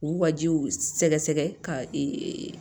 U wajibiw sɛgɛsɛgɛ ka